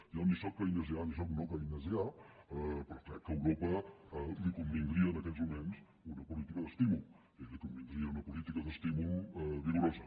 jo ni sóc keynesià ni sóc no keynesià però crec que a europa li convindria en aquests moments una política d’estímul i li convindria una política d’estímul vigorosa